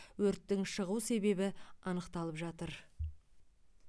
өрттің шығу себебі анықталып жатыр